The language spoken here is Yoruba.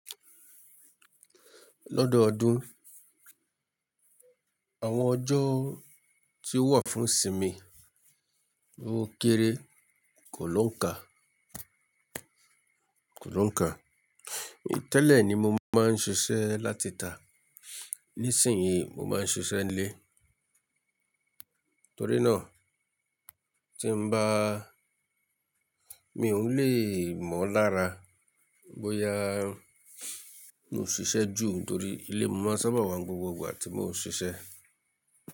Lọ́dọ̀ ọdún, àwọn ọjọ́ tí ó wà fún Simi okéré, kò ló ń kà, kò ló ń kà. Tẹ́lẹ̀ ni mo máa ń ṣiṣẹ́ láti tà, nísìnyí mo máa ń ṣiṣẹ́ nílé. Torí náà tí n bá, mi ò lè mọ lára bóyá mo n ṣiṣẹ́ jù nítorí ilé mo máa sábà wà gbogbo ìgbà tí mo n ṣiṣẹ́.